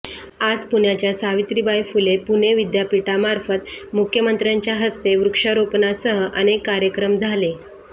आज पुण्याच्या सावित्रीबाई फुले पुणे विद्यापीठामार्फत मुख्यमंत्र्यांच्या हस्ते वृक्षारोपणासह अनेक कार्यक्रम झाले